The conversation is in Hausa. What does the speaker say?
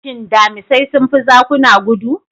Shin Damisai sun fi zakuna gudu?